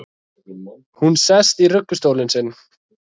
Hún sest í ruggustólinn sinn.